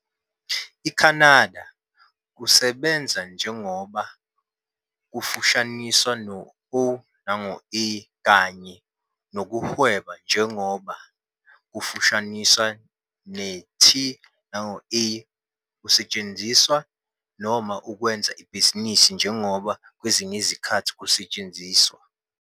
IKhanada, "kusebenza njengoba", kufushaniswa no-o noma a kanye "nokuhweba njengoba", kufushaniswa ne-T no A, kuyasetshenziswa, noma "ukwenza ibhizinisi njengoba" kwesinye isikhathi kuyasetshenziswa.